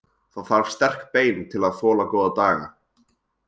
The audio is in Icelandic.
Það þarf sterk bein til að þola góða daga.